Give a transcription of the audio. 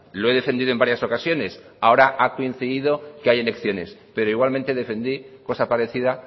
lo he defendido en varias ocasiones ahora ha coincidido que hay elecciones pero igualmente defendí cosa parecida